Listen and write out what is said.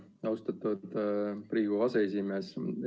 Aitäh, austatud Riigikogu aseesimees!